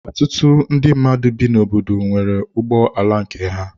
Ọtụtụ ndị mmadụ bi n'obodo nwere ụgbọ ala nke ha.